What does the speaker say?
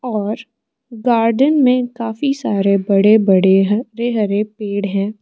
और गार्डन में काफी सारे बड़े बड़े हरे हरे पेड़ हैं।